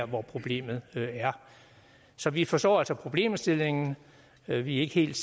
hvor problemet er så vi forstår altså problemstillingen men vi er ikke helt